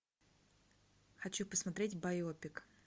хочу посмотреть байопик